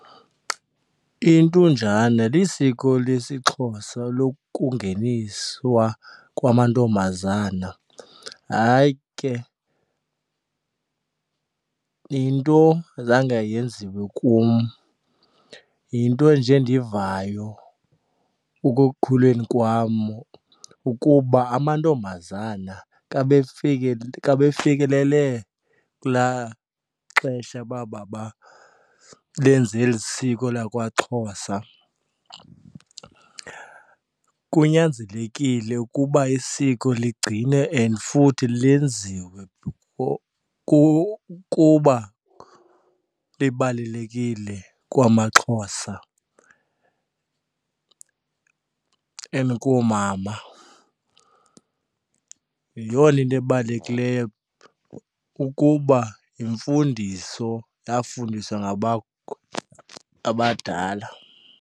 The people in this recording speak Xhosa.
Intonjane lisiko lesiXhosa lokungeniswa kwamantombazana. Hayi ke yinto zange yenziwe kum, yinto enje endivayo ekukhuleni kwam ukuba amantombazana xa xa befikelele kulaa xesha uba benze eli siko lakwaXhosa. Kunyanzelekile ukuba isiko ligcine and futhi lenziwe kuba libalulekile kwamaXhosa and koomama. Yeyona into ebalulekileyo kukuba yimfundiso yafundiswa abadala.